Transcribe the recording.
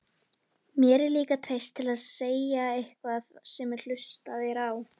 Mér er líka treyst til þess að segja eitthvað sem hlustað er á.